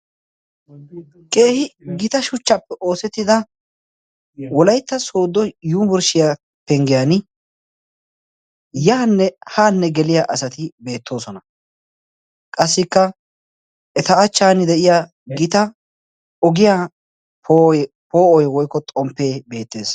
keehi gita shuchchaappe oosettida wolaytta soodo yunburshshiyaa penggiyan yaanne haanne geliya asati beettoosona qassikka eta achan de'iya gita ogiya poo'oy woykko xomppee beettees